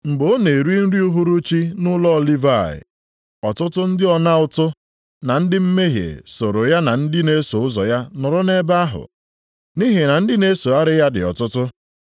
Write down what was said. Mgbe ọ na-eri nri uhuruchi nʼụlọ Livayị, ọtụtụ ndị ọna ụtụ na ndị mmehie soro ya na ndị na-eso ụzọ ya nọrọ ebe ahụ, nʼihi na ndị na-esogharị ya dị ọtụtụ.